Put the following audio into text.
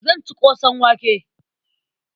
Zan ci ƙosan wake.